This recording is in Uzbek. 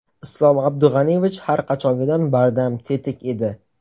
Islom Abdug‘aniyevich har qachongidan bardam, tetik edi.